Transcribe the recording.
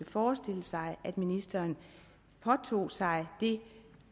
forestille sig at ministeren påtog sig det